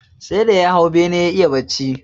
Sai da ya hau bene ya iya bacci